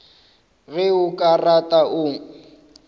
ge o ka rata o